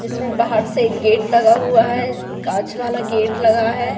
इसमें बाहर से एक गेट लगा हुआ है कांच वाला गेट लगा है।